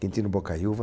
Quintino Bocaiuva.